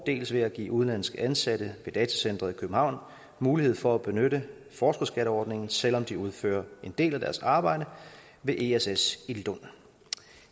dels ved at give udenlandske ansatte ved datacenteret i københavn mulighed for at benytte forskerskatteordningen selv om de udfører en del af deres arbejde ved ess ess i lund